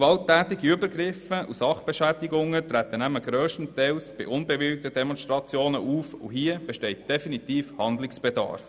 Gewalttätige Übergriffe und Sachbeschädigungen treten nämlich grösstenteils bei unbewilligten Demonstrationen auf, und dort besteht definitiv Handlungsbedarf.